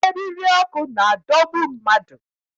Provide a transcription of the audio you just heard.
Eriri ọkụ na-adọgbu mmadụ